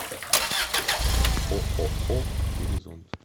ооо горизонт